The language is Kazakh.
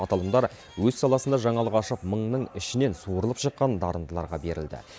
аталымдар өз саласында жаңалық ашып мыңның ішінен суырылып шыққан дарындыларға берілді